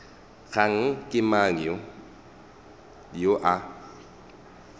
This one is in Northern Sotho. kgane ke mang yo a